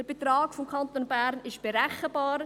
Der Beitrag des Kantons Bern ist berechenbar.